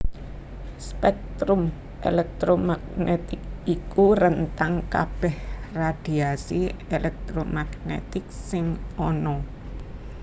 Spektrum elektromagnetik iku rentang kabèh radhiasi elektromagnetik sing ana